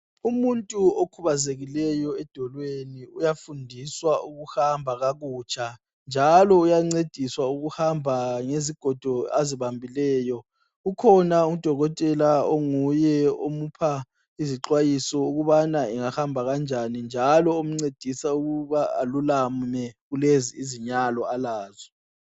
Umuntu okhubazekileyo edolweni uyafundiswa ukuhamba kakutsha, njalo uyancediswa ukuhamba ngezigodo azibambileyo. Kukhona udokotela onguye omupha izixwayiso ukubana engahamba kanjani, njalo omncedisa ukuba alulame kulezi izinyalo alazo.